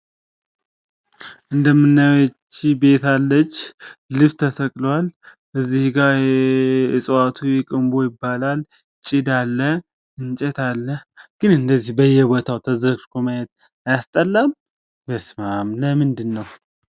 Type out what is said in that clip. እንደምናየው ቤት አለች፣ ዲሽ ተሰቅሏል ፣ እጽዋቱ ቅምቦ ይባላል፣ ጭድ አለ። ግን እንደዚህ በየቦታው ተዝረክርኮ ማየት አያስጠላም?